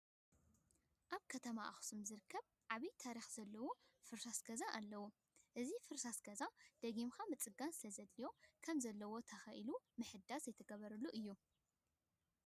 ኣብ ከተማ ኣኽሱም ዝርከብ ዓብይ ታሪክ ዘለዎ ፍርስራስ ገዛ ኣለው። ኣብዚ ፍርስራስ ገዛ ገና ደጊጋካ ምፅናዕ ስለዘድልዮ ከም ዘለዎ ተኸሊሉ ምሕዳስ ዘይተገበሉ እዩ።